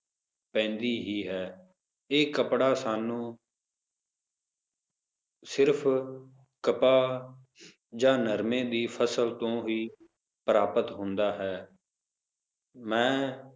ਪੈਂਦੀ ਹੀ ਹੈ l ਇਹ ਕਪੜਾ ਸਾਨੂੰ ਸਿਰਫ ਕਪਾਹ ਜਾ ਨਰਮੇ ਦੀ ਫਸਲ ਤੋਂ ਹੀ ਪ੍ਰਾਪਤ ਹੁੰਦਾ ਹੈ ਮੈਂ